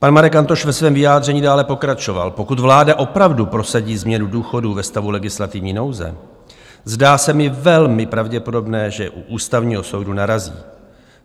Pan Marek Antoš ve svém vyjádření dále pokračoval: Pokud vláda opravdu prosadí změnu důchodů ve stavu legislativní nouze, zdá se mi velmi pravděpodobné, že u Ústavního soudu narazí.